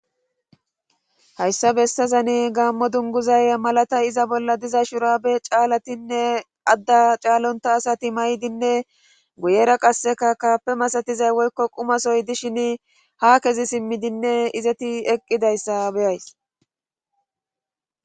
hayssa bessazani gaammo dunguzay malatay iza bolla diza shurabe caalatinne adda caalonta asati maydinne guyera qasseka kaape masatizay woykko qumasoy dishin ha kezi simmidinne izeti eqqidayssa beyays